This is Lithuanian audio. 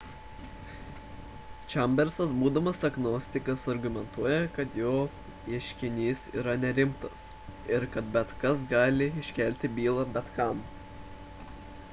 chambersas būdamas agnostikas argumentuoja kad jo ieškinys yra nerimtas ir kad bet kas gali iškelti bylą bet kam